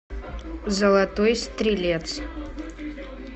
золотой стрелец